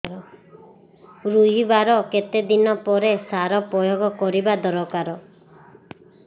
ରୋଈବା ର କେତେ ଦିନ ପରେ ସାର ପ୍ରୋୟାଗ କରିବା ଦରକାର